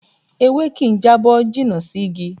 Ewé kì ń jábọ́ jìnnà sí Ígi